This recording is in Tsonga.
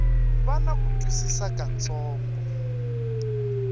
va na ku twisisa kutsongo